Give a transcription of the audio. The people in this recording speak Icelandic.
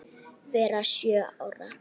vera sjö ár!